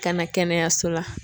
Ka na kɛnɛyaso la.